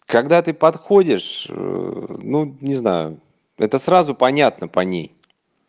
когда ты подходишь ну не знаю это сразу понятно по ней